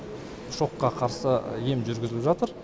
шокқа қарсы ем жүргізіліп жатыр